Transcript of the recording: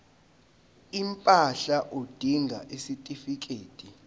impahla udinga isitifikedi